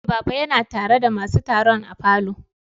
Eh, baba ya na tare da masun taron a falo.